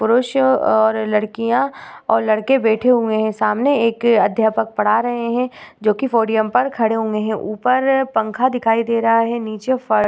पुरुष और लड़कियां और लड़के बैठे हुए हैं सामने एक अध्यापक पढ़ा रहे हैं जोकि पोडियम पर खड़े हुए हैं ऊपर पंखा दिखाई दे रहा हैं नीचे --